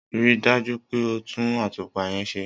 Ri dà jù pẹ o tun àtupà yen sẹ!